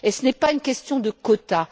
Et ce n'est pas une question de quotas.